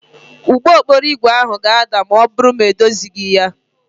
Ụgbọ okporo ígwè ahụ ga-ada ma ọ bụrụ na edozighị ya